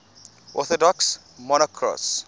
orthodox monarchs